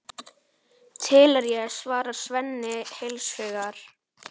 Til er ég, svarar Svenni heils hugar.